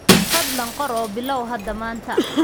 Fadlan qor oo bilow hada maanta.